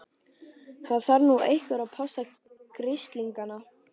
Það þarf nú einhver að passa grislingana.